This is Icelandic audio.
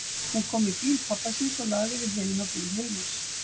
Hún kom í bíl pabba síns og lagði við hliðina á bíl Hilmars.